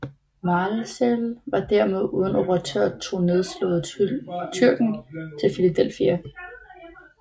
Mälzel var dermed uden operatør og tog nedslået Tyrken til Philadelphia